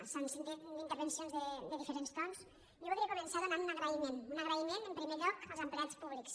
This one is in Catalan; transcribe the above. s’han fet intervencions amb dife·rents tons jo voldria començar fent un agraïment un agraïment en primer lloc als empleats públics